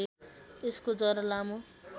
यस्को जरा लामो